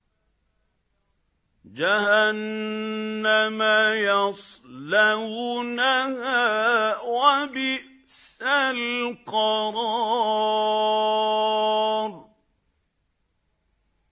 جَهَنَّمَ يَصْلَوْنَهَا ۖ وَبِئْسَ الْقَرَارُ